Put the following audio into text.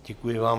Děkuji vám.